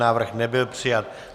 Návrh nebyl přijat.